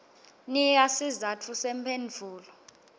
nika sizatfu semphendvulo